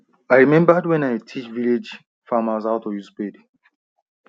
i remembered wen i teach village farmers how to use spade